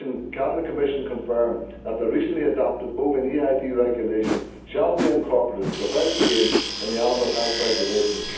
Can the Commission confirm that the recently adopted bovine EID regulation will be incorporated without change in the animal health regulations?